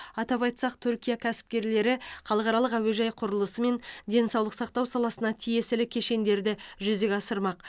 атап айтсақ түркия кәсіпкерлері халықаралық әуежай құрылысы мен денсаулық сақтау саласына тиесілі кешендерді жүзеге асырмақ